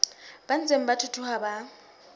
ba ntseng ba thuthuha ba